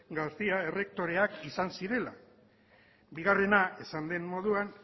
garcía errektoreak izan zirela bigarrena esan den moduan